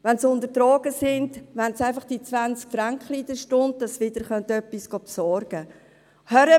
Wenn sie unter Drogeneinfluss sind, wollen sie einfach die 20 «Fränklein» pro Stunde haben, damit sie wieder etwas besorgen können.